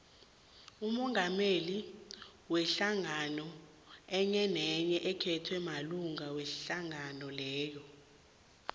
umongameli wehlangano enyenenye ukhethwa malunga wehlangano leyo